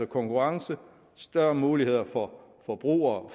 konkurrence og større muligheder for forbrugere